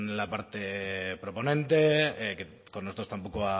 la parte proponente que con nosotros tampoco